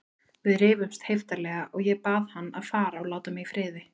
Við rifumst heiftarlega og ég bað hann að fara og láta mig í friði.